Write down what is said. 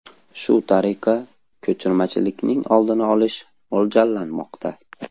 Shu tariqa ko‘chirmachilikning oldini olish mo‘ljallanmoqda.